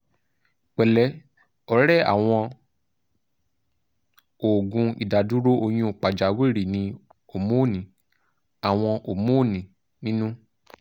pẹ̀lẹ́ ọ̀rẹ́ àwọn òògùn ìdádúró oyún pàjáwìrì ní hómónì (àwọn hómónì) nínú